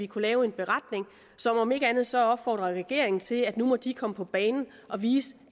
kunne lave en beretning og om ikke andet så opfordre regeringen til at nu må den komme på banen og vise